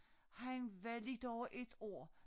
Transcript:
Han var lidt over 1 år